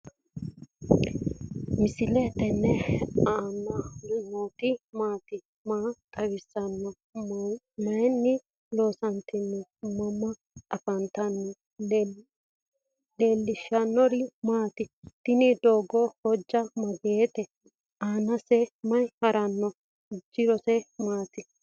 misile tini alenni nooti maati? maa xawissanno? Maayinni loonisoonni? mama affanttanno? leelishanori maati? tini dogo hoja mageshite? anaseni mayi harano? jorose maati?